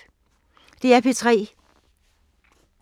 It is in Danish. DR P3